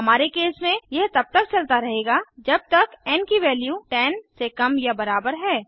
हमारे केस में यह तब तक चलता रहेगा जब तक एन की वैल्यू 10 से कम या बराबर है